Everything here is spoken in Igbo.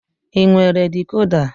Ị nwere dikoda?